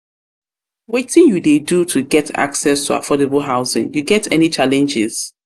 wetin you dey do to get access to affordable housing you get any challenges.